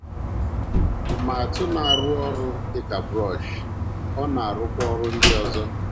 Ma atụ na - arụ ọrụ dị ka brọsh, ọ na - arụkwa ọrụ ndị ọzọ.